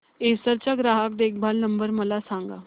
Acer चा ग्राहक देखभाल नंबर मला सांगा